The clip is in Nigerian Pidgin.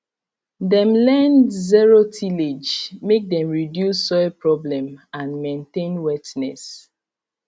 dem learned zero tillage make dem reduce soil problem and maintain wetness